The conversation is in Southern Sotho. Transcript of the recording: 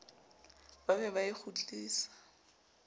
ba be ba e kgutlise